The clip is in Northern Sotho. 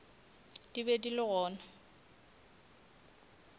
di be di le gona